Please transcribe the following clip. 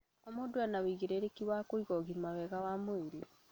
O mũndu ena ũigĩrĩrĩki wa kũiga ũgima mwega wa mwĩrĩ